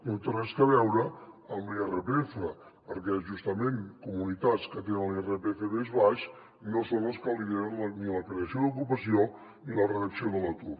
no té res a veure amb l’irpf perquè justament comunitats que tenen l’irpf més baix no són les que lideren ni la creació d’ocupació ni la reducció de l’atur